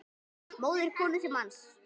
móðir konu manns